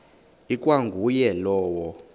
ikwa nguye lowo